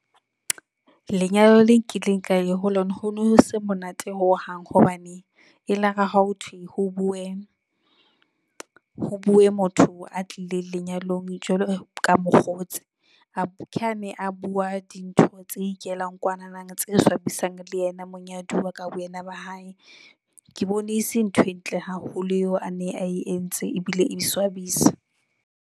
Lenyalo le nkileng ka ya ho lona, ho nose monate ho hang hobane elare ha ho thwe ho bue, ho bue motho a tlileng lenyalong jwalo ka mokgotsi, a ke a ne a bua dintho tse ikelang kwanana tse swabisang le yena monyaduwa ka boyena ba hae. Ke bone ese ntho e ntle haholo eo a ne a entse ebile e swabisa.